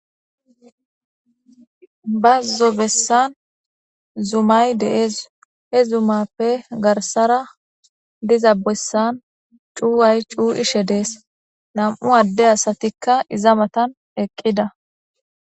Bazzo bessan zumay dees. He zumappe garsara diza bessan cuuway cuu7ishe dees. Nam7u adde asatikka iza matan eqqida.